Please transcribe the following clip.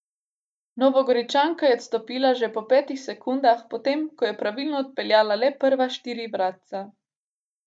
Novogoričanka je odstopila že po petih sekundah, potem ko je pravilno odpeljala le prva štiri vratca.